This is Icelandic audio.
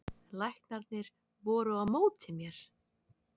Læknarnir voru á móti mér